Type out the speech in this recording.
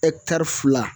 fila